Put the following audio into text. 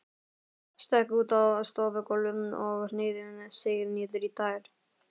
Stökk út á stofugólfið og hneigði sig niður í tær.